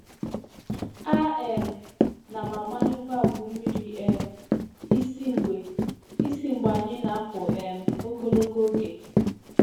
A um na m agbanyụ valvụ mmiri um isi mgbe isi mgbe anyị na-apụ um ogologo oge.